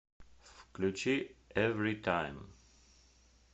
включи эвритайм